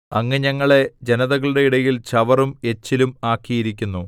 അങ്ങ് ഞങ്ങളെ ജനതകളുടെ ഇടയിൽ ചവറും എച്ചിലും ആക്കിയിരിക്കുന്നു